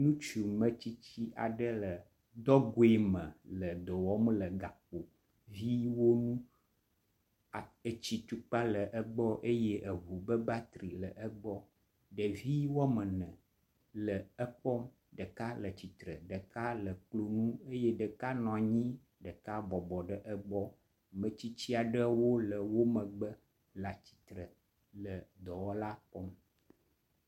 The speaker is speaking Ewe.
Ŋutsu ametsitsi aɖe le dɔgoeme le dɔwɔm le gakpoviwo ŋu, etsi tukpa le egbɔ eye eŋu me battery hã le egbɔ, ɖevi womene le ekpɔm, ɖeka le tsitre, ɖeka le kloŋu eye ɖeka eye ɖeka nɔ anyi eye ɖeka bɔbɔ ɖe egbɔ, metsitsi aɖewo le wo megbe le tsitre le dɔwɔla kpɔm